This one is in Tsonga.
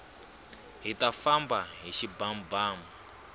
hita famba hi xibamubamu